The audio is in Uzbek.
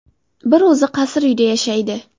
Bir o‘zi qasr uyda yashaydi.